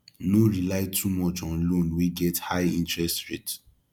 no rely too much on loan wey get high interest rate